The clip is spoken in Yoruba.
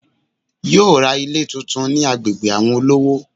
Yóò ra Ilé tuntun ni agbègbè àwon olówó